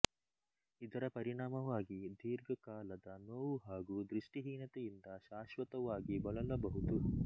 ಇದರ ಪರಿಣಾಮವಾಗಿ ದೀರ್ಘಕಾಲದ ನೋವು ಹಾಗು ದೃಷ್ಟಿಹೀನತೆಯಿಂದ ಶಾಶ್ವತವಾಗಿ ಬಳಲಬಹುದು